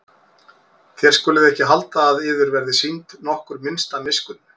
Þér skuluð ekki halda að yður verði sýnd nokkur minnsta miskunn.